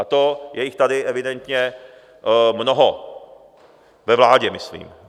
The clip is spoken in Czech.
A to je jich tady evidentně mnoho, ve vládě myslím.